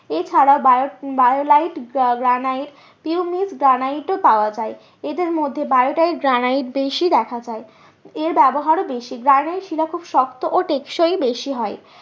এছাড়াও বায়োলাইট গ্রানাইট গ্রানাইটও পাওয়া যায়। এদের মধ্যে বায়োটাইট গ্রানাইট বেশি দেখা যায়। এর ব্যবহার ও বেশি গ্রানাইট শিলা খুব শক্ত ও টেকসই বেশি হয়।